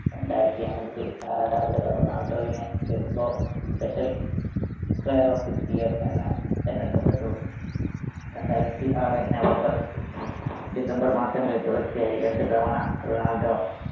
രണ്ടായിരത്തിഅഞ്ചിൽ ആരാധകർ റൊണാൾഡോവിനെ FIFPro special player of the year എന്ന് തെരഞ്ഞടുക്കപ്പെട്ടു. രണ്ടായിരത്തി ആറ് November, December മാസങ്ങളിൽ തുടർച്ചയായി രണ്ട് തവണ റൊണാൾഡോ